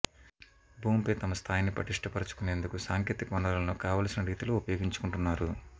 భూమి పై తమ స్థాయిని పటిష్టపరుచుకునేందుకు సాంకేతిక వనరులను కావల్సిన రీతిలో ఉపయోగించుకుంటున్నారు